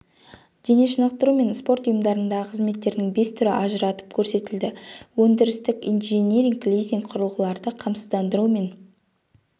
дене шынықтыру мен спорт ұйыдарындағы қызметтердің бес түрі ажыратып көрсетілді өндірістік инжиниринг лизинг құрылғыларды қамсыздандыру мен